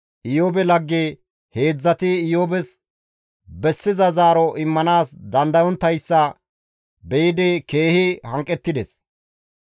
Iyoobe lagge heedzdzati Iyoobes bessiza zaaro immanaas dandayontayssa be7idi keehi hanqettides.